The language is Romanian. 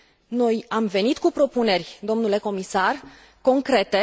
Noi am venit cu propuneri, domnule comisar, concrete